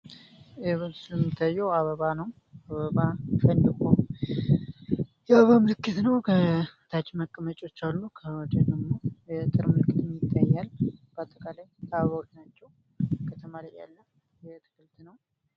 በዚህ የሚታየው አበባ ነው አበባ ፈንድቆ የአበባ ምልክት ነው። ከታች መቀመጫዎች አሉ። ከወዲ ደግሞ የአጥር ምልክትም ይታያል በአጠቃላይ አበባዎች ናቸዉ ከተማ ላይ ያለ ግቢ ነው።